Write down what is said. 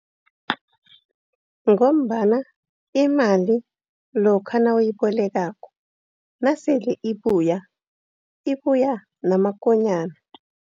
Ngombana imali lokha nabayibolekako nasele ibuya, ibuya namakonyana.